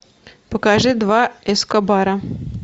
покажи два эскобара